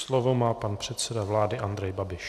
Slovo má pan předseda vlády Andrej Babiš.